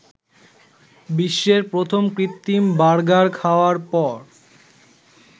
বিশ্বের প্রথম কৃত্রিম বার্গার খাওয়ার পর